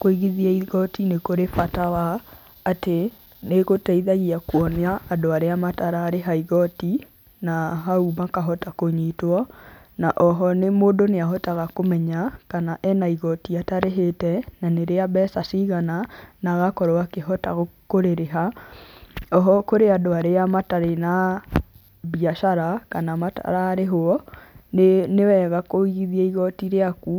Kũigithia igooti nĩ kũrĩ bata wa, atĩ nĩ ĩgũteithagia kuona andũ arĩa matararĩha igooti, na hau makahota kũnyitwo na oho mũndũ nĩ ahotaga kũmenya kana ena igooti atarĩhĩte na nĩ rĩa mbeca cigana na agakorwo akĩhota kũrĩrĩha. Oho kũrĩ andũ arĩa matarĩ na biacara kana matararĩhwo, nĩ wega kũigithia igooti rĩaku